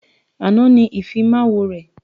Àná ni Ìfimáwo rẹ̀